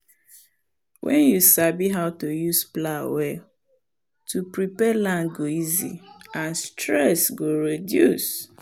once you sabi how to use plow well to prepare land go easy and stress go reduce.